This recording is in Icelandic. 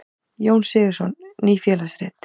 Jón Sigurðsson: Ný félagsrit.